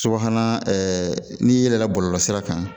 Subahana n'i yɛlɛla bɔlɔlɔsira kan